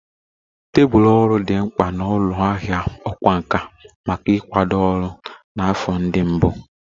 Tebụl ọrụ dị mkpa na ụlọ ahịa ọkwá nkà maka ịkwado ọrụ na afọ ndị mbụ